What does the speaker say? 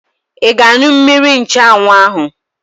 Ị ga-aṅụ mmiri nchụanwụ ahụ?